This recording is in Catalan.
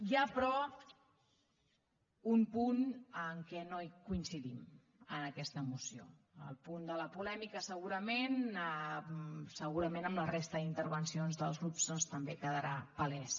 hi ha però un punt en què no coincidim en aquesta moció el punt de la polèmica segurament en la resta d’intervencions dels grups doncs també quedarà palès